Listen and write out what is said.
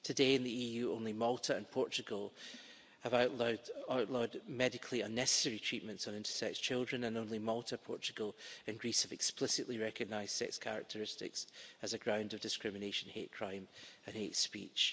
Today, in the EU, only Malta and Portugal have outlawed medically unnecessary treatments on intersex children, and only Malta, Portugal and Greece have explicitly recognised sex characteristics as a ground of discrimination, hate crime and hate speech.